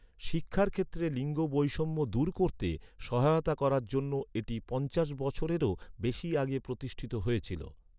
শিক্ষার ক্ষেত্রে লিঙ্গ বৈষম্য দূর করতে সহায়তা করার জন্য এটি পঞ্চাশ বছরেরও বেশি আগে প্রতিষ্ঠিত হয়েছিল।